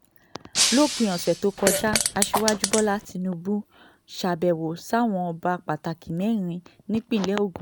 lópin ọ̀sẹ̀ tó kọjá aṣíwájú bọ́lá tìǹbù ṣàbẹ̀wò sáwọn ọba pàtàkì mẹ́rin nípínlẹ̀ ogun